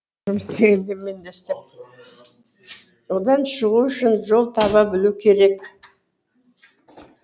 одан шығу үшін жол таба білу керек